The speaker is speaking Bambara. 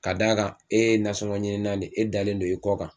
Ka d'a kan e ye nasɔngɔ ɲini ne e dalen don e kɔ kan,